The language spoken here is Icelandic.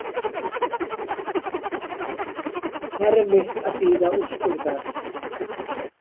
Erfitt að bíða úrskurðar